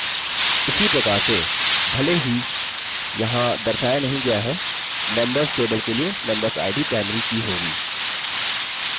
उसी प्रकार से भले ही यहाँ दर्शाया नहीं गया है members table के लिए membersid primary की होगी